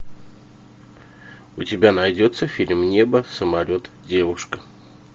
у тебя найдется фильм небо самолет девушка